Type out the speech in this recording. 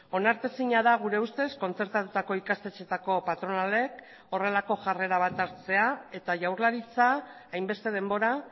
onartezina da gure ustez kontzertatutako ikastetxeetako patronalek horrelako jarrera bat hartzea eta jaurlaritza hainbeste denbora